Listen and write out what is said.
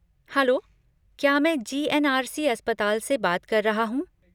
Hello! क्या मैं GNRC. अस्पताल से बात कर रहा हूँ?